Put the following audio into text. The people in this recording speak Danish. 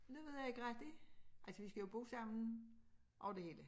Det ved jeg ikke rigtig altså vi skal jo bo sammen over det hele